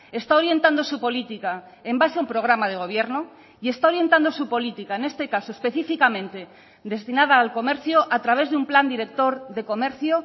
está orientando su política en base a un programa de gobierno y está orientando su política en este caso específicamente destinada al comercio a través de un plan director de comercio